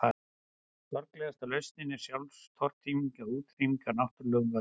Sorglegasta lausnin er sjálfstortíming eða útrýming af náttúrulegum völdum.